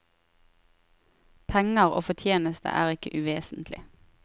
Penger og fortjeneste er ikke uvesentlig.